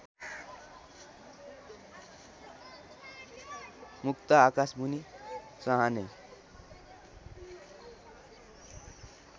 मुक्त आकाशमुनि चहार्ने